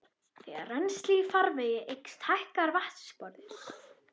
Þegar rennsli í farvegi eykst hækkar vatnsborðið.